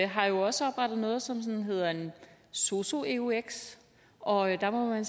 har jo også oprettet noget som hedder en sosu eux og der må man